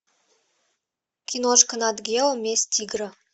киношка нат гео месть тигра